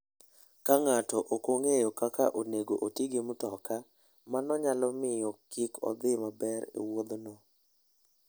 Ka ng'ato ok ong'eyo kaka onego oti gi mtoka, mano nyalo miyo kik odhi maber e wuodhno.